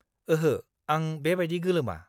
ओहो, आं बेबादि गोलोमा।